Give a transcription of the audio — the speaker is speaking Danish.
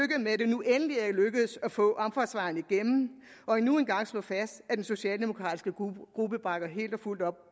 med at det nu endelig er lykkedes at få omfartsvejen igennem og endnu en gang slå fast at den socialdemokratiske gruppe bakker helt og fuldt op